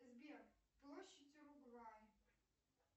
сбер площадь уругвай